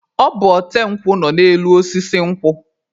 Ọ bụ ote nkwụ nọ n'elu osisi nkwụ.